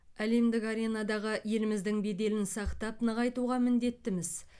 әлемдік аренадағы еліміздің беделін сақтап нығайтуға міндеттіміз